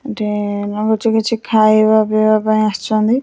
ଏଠି ଲାଗୁଛି କିଛି ଖାଇବା ପିଇବା ପାଇଁ ଆସିଛନ୍ତି ।